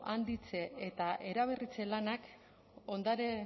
handitze eta eraberritze lanak